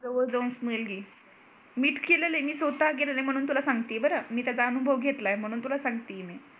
जवळ जाऊन smell घे मीच केलेले आहे मी स्वतः केलेल आहे म्हणून तुला सांगते बरं मी त्याचा अनुभव घेतलाय म्हणून तुला सांगते मी